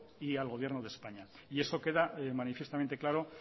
y al gobierno de españa y eso queda manifiestamente claro